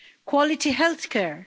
quality health care